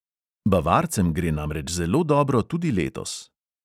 Bavarcem gre namreč zelo dobro tudi letos.